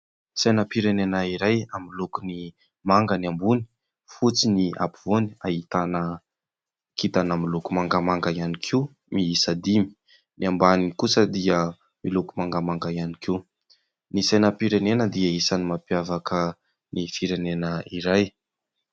Sainam-pirenena iray amin'ny lokony manga ny ambony, fotsy ny apovoany, ahitana kitana miloko mangamanga ihany koa miisa dimy ; ny ambany kosa dia miloko mangamanga ihany koa. Ny sainam-pirenena dia isany mampiavaka ny firenena iray.